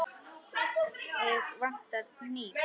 Mig vantar hníf.